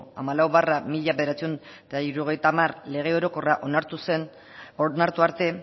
hamalau barra mila bederatziehun eta hirurogeita hamar lege orokorra onartu arte